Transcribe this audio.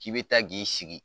K'i bɛ taa k'i sigi